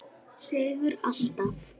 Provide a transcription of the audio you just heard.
Seigur alltaf.